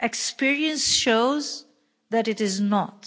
Experience shows that it is not.